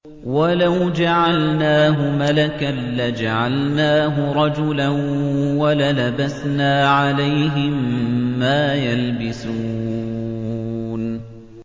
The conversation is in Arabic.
وَلَوْ جَعَلْنَاهُ مَلَكًا لَّجَعَلْنَاهُ رَجُلًا وَلَلَبَسْنَا عَلَيْهِم مَّا يَلْبِسُونَ